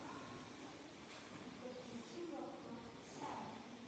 подключи блокнот сары